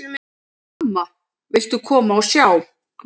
Amma, viltu koma og sjá!